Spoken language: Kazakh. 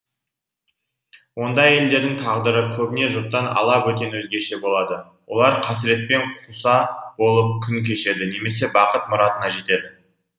ондай әйелдердің тағдыры көбіне жұрттан ала бөтен өзгеше болады олар қасіретпен қуса болып күн кешеді немесе бақыт мұратына жетеді